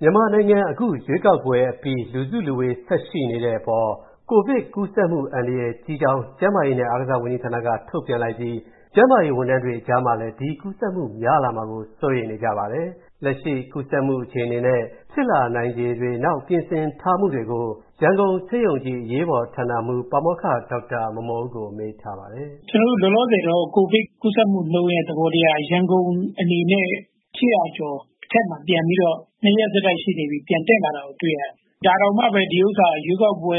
မြန်မာနိုင်ငံ အခုရွေးကောက်ပွဲအပြီး၊ လူစုလူဝေးဆက်ရှိနေတဲ့အပေါ် ကိုဗစ်ကူးစက်မူအန္တရာယ်ကြီးကြောင်း၊ ကျန်းမာရေးနဲ့အားကစားဝန်ကြီးဌာနက ထုတ်ပြန်လိုက်ပြီး၊ ကျန်းမာရေးဝန်ထမ်းတွေအကြားမှာလည်း ဒီကူးစက်မူများလာမှာကို စိုးရိမ်နေကြပါတယ်။ လက်ရှိကူးစက်မူအခြေအနေ၊ နောက်ဖြစ်လာနိုင်ခြေနဲ့ ပြင်ဆင်ထားမူတွေကို၊ ရန်ကုန်ဆေးရုံကြီး အရေးပေါ်ဌာနမူး ပါမောက္ခ ဒေါက်တာမော်မော်ဦးကို ကိုဝင်းမင်းက မေးထားပါတယ်။ ကျနော်တို့ လောလောဆည် ကိုဗစ်ကူးစက်မှုနှုန်းသဘောက ရန်ကုန် အနေနဲ့ ၈၀၀ ကျော်အထက်မှာ ပြန်ပြီးတော့ ၂ ရက်ဆက်တိုက်ရှိနေပြီ ပြန်တက်လာတာကို တွေ့ရတယ်။ ဒါတောင်မှပဲ ဒါက ရွေးကောက်ပွဲ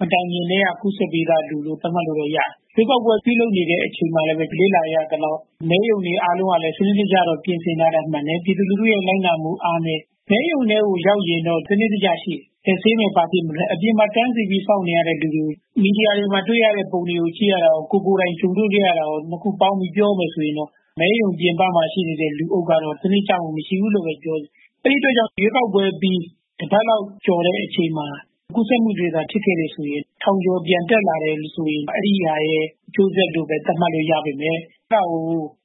မတိုင်မီက ကူးစက်ပြီးသား လူလို့ သတ်မှတ်လို့ရတယ်။ ရွေးကောက်ပွဲ ပြုလုပ်နေတဲ့အချိန်မှာလည်း လေ့လာရသလောက်က မဲရုံတွေအားလုံးကလည်း စနစ်တကျ ပြင်ဆင်ထားတာ မှန်တယ်။ ပြည်သူလူထုရဲ့ လိုက်နာမှုအားနည်းတယ်။ မဲရုံ ကိုရောက်ရင်တော့ စနစ်တကျရှိတယ်။ အပြင်မှာ တန်းစီပြီးစောင့်နေရတဲ့လူတွေ မီဒီယာတွေမှာ တွေ့ရတဲ့ ပုံတွေ ကြည့်ရသလောက်နဲ့ ကိုယ်တိုင်ကြုံတွေ့ခဲ့ရတာ ၂ ခုပေါင်းပြီး ပြောမယ်ဆိုရင် မဲရုံပြင်ပမှာ ရှိတဲ့ လူအုပ်ကတော့ စနစ်တကျ မရှိဘူးလို့ ပြောချင်တယ်။ အဲဒီအတွက်ကြောင့် ရွေးကောက်ပွဲပြီး တပတ်လောက်ကျော်တဲ့အချိန်မှာ ကူးစက်မှုတွေဖြစ်ခဲ့တယ်ဆိုရင် ထောင်ကျော်ပြန်တက်လာမယ်ဆိုရင် အဲဒါရဲ့ အကျိုးဆက်လို့ပဲ သတ်မှတ်လို့ရမယ်။ ဒါပေမယ့် အဲဒါကို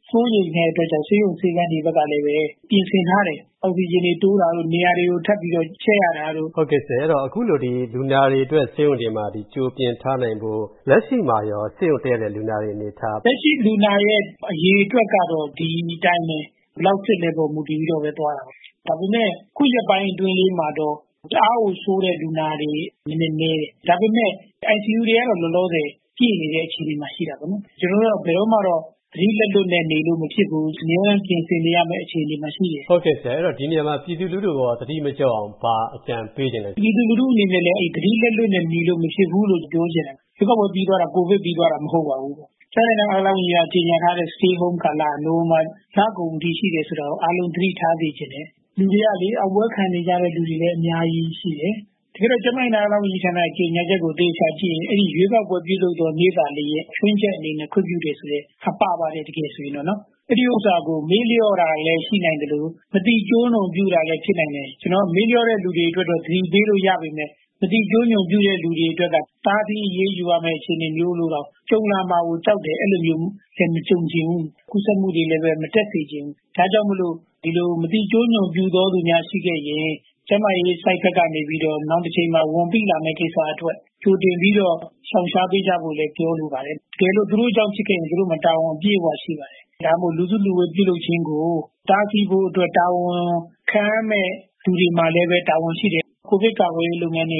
စိုးရိမ်တဲ့အတွက်ကြောင့် ဆေးရုံ ၊ ဆေးခန်းတွေကလည်း ပြင်ဆင်ထားတယ် အောက်ဆီဂျင်တွေတိုးထားတာတို့ နေရာတွေကို ထပ်ပြီးတော့ ချဲ့ရတာတို့။ ဟုတ်ကဲ့ဆရာ အခုလို လူနာတွေအတွက် ဆေးရုံတွေမှာ ကြိုပြင်ထားနိုင်ဖို့ လက်ရှိမှာရော ဆေးရုံတက်ရတဲ့ လူနာအနေအထား လက်ရှိ လူနာအရေအတွက်ကတော့ ဒီအတိုင်းပဲ ဘယ်လောက်စစ်လဲဆိုတာမှာ မူတည်ပြီးတော့ သွားတာပေါ့နော်။ ဒါပေမယ့် အခုရက်ပိုင်းအတွင်းလေးမှာတော့ တအားကို ဆိုးတဲ့လူနာတွေ နည်းနည်း နည်းတယ်။ ဒါပေမယ့် ICU တွေကတော့ လောလောဆယ် ပြည့်နေတဲ့ အခြေအနေမှာရှိတာပေါ့။ ကျနော်တို့ကတော့ ဘယ်တော့မှတော့ သတိလက်လွတ်နဲ့ နေလို့ မဖြစ်ဘူး။ အမြဲတမ်း ပြင်ဆင်နေရမယ့်အခြေအနေမှာ ရှိတယ်။ ဟုတ်ကဲ့ ဆရာ ဒီနေရာမှာ ပြည်သူလူထုကို သတိမလျော့အောင် ဘာအကြံပေးချင်ပါသလဲ။ ပြည်သူလူထုလည်း သတိလက်လွတ်နဲ့ နေလို့မဖြစ်ဘူးလို့ ပြောချင်တယ်။ ရွေးကောက်ပွဲပြီးသွားတာ ကိုဗစ်ပြီးသွားတာမဟုတ်ပါဘူးလို့။ ကျန်မာရေးနဲ့ အားကစားဝန်ကြီးဌာနက ကြေညာထားတဲ့ Stay Home ကာလက နိုဝင်ဘာ လကုန်အထိ ရှိတယ်ဆိုတာကို အားလုံး သတိထားစေချင်တယ်။ လူတွေကလေ အောင်ပွဲခံနေတဲ့ လူတွေလည်း အများကြီးရှိတယ်။ တကယ်တော့ ကျန်မာရေးနဲ့ အားကစားဝန်ကြီးဌာနရဲ့ ကြေညာချက်ကို သေချာကြည့်ရင် အဲဒီရွေးကောက်ပွဲ ပြုလုပ်တဲ့နေ့သာလျင် ခြွင်းချက်အနေနဲ့ ခွင့်ပြုတယ်ဆိုတာ ပါပါတယ် တကယ်ဆိုရင်တော့နော်။ အဲဒီဥစ္စာကို မေ့လျော့တာလည်း ရှိနိုင်သလို မသိကျိုးကျွန်ပြုတာလည်း ဖြစ်နိုင်တယ်။ မသိတဲ့လူတွေအတွက်တော့ သတိပေးလို့ ရပေမယ့် မသိကျိုးကျွန်ပြုတဲ့လူတွေအတွက်က တားဆီးအရေးယူရမယ့် အခြေအနေမျိုးလို့တောင် ကြုံလာမှာကို ကြောက်တယ်။ အဲလိုမျိုးလည်း မကြုံချင်ဘူး ကူးစက်မှုတွေလည်း မတက်စေချင်ဘူး ဒါကြောင့်မို့လို့ ဒီလို မသိကျိုးကျွန်ပြုသော သူများရှိခဲ့ရင် ကျန်မာရေးဘက်ကနေပြီးတော့ နောင်တချိန်မှာ ဝန်ပိလာမယ့် ကိစ္စအတွက်ကြိုတင်ပြီးတော့ ရှောင်ရှားပေး ကြဖို့လည်း ပြောလိုပါတယ်။ တကယ်လို့ သူတို့ကြောင့်ဖြစ်ခဲ့ရင် သူူတို့မှာ တာဝန်အပြည့်အ၀ ရှိပါတယ်။ ဒါကြောင့်မို့ လူစုလူဝေး ပြုလုပ်ခြင်းကို တားဆီးဖို့အတွက် တာဝန်ခံရမယ့် လူတွေမှာလည်း တာဝန်ရှိတယ်။ COVID ကာကွယ်ရေး လုပ်ငန်းတွေ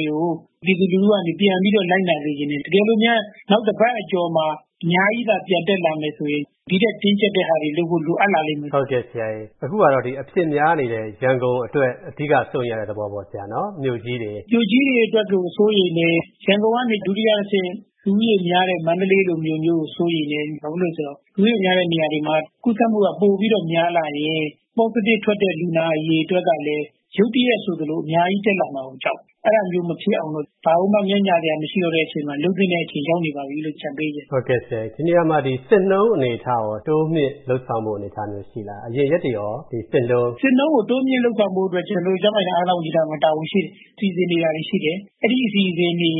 ကို ပြည်သူလူထုကနေ ပြန်ပြီးတော့ လိုက်နာစေချင်တယ်။ တကယ်လို့များ နောက်တပတ်အကျော်မှာ အများကြီး ပြန်တက်လာမယ်ဆိုရင် ဒီထက်တင်းကျပ်တာတွေ လုပ်ဖို့ လိုအပ်လာလိမ့်မယ်။ ဟုတ်ကဲ့ဆရာ အခုကတော့ အဖြစ်များနေတဲ့ ရန်ကုန်အတွက် အဓိက စိုးရိမ်ရတဲ့ သဘောပေါ့နော်ဆရာ၊ မြို.ကြီးတွေပါ မြို့ကြီးတွေအတွက်ကို စိုးရိမ်တယ် ။ ရန်ကုန်ကနေ ဒုတိယတဆင့် လူဦးရေများတဲ့ မန္တလေးလိုမျိုးကို စိုးရိမ်တယ်။ ဘာဖြစ်လို့လဲဆိုတော့ လူဦးရေများတဲ့နေရာတွေမှာ ကုးစက်မှုက ပိုများလာရင် Positive ထွက်တဲ့ လူနာအရေအတွက်ကလည်း ရုတ်တရက်ဆိုသလို အများကြီး တက်လာမှာကို ကြောက်တယ်။ အဲလိုမျိုး မဖြစ်အောင်တော့ ဘာကိုမှ ငဲ့ညှာစရာမရှိတော့တဲ့အချိန်မှာ လုပ်သင့်တဲ့အချိန်ရောက်နေပါပြီလို့ အကြံပေးချင်ပါတယ်။ ဒီနေရာမှာ စစ်နှုန်းအနေအထားရော တိုးမြှင့်လုပ်ဆောင်ဖို့ ရှိလား အရင်ရက်တွေကရော ဒီစစ်နှုန်းက။ စစ်နှုန်းကို တိုးမြှင့်လုပ်ဆောင်ဖို့အတွက် ကျနော်တို့ ကျန်မာရေးနဲ့ အားကစားဝန်ကြီးဌာနက တာဝန်ရှိတယ် ။ စီစဉ်နေတာတွေရှိတယ် အဲဒီအစီအစဉ်တွေနဲ့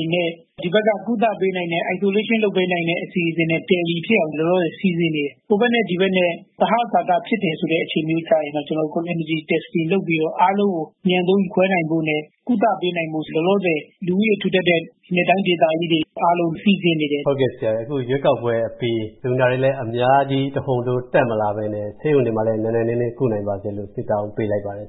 ဒီဘက်က ကုသပေးနိုင်တဲ့ Isolation လုပ်ပေးနိုင်တဲ့ အစီအစဉ်နဲ့ Tally ဖြစ်အောင် လောလောဆည် စီစဉ်နေတယ်။ ဟိုဘက်နဲ့ ဒီဘက်နဲ့ သဟဇာတဖြစ်တယ်ဆိုတဲ့အခြေအနေမျိုးဆိုရင်တော့ ကျနော်တို့ Community Testing လုပ်ပြီးတော့ အားလုံးကို အမြန်ဆုံး ခွဲထားနိုင်ဖို့နဲ့ ကုသပေးနိုင်ဖို့ လောလောဆယ် လူဦးရေထူထပ်တဲ့ ပြည်နယ်နဲ့ တိုင်းဒေသကြီးတွေ အားလုံး စီစဉ်နေတယ်။ ဟုတ်ကဲ့ဆရာ အခုရွေးကောက်ပွဲ အပြီး လူနာတွေလည်းအများကြီး တဟုန်ထိုး တက်မလာပဲနဲ့ ဆေးရုံတွေမှာလည်း နိုင်နိုင်နင်းနင်း ကုနိုင်ပါစေလို့ ဆုတောင်းပေးလိုက်ပါတယ်